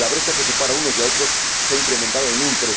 La brecha que separa a unos y a otros se ha incrementado en un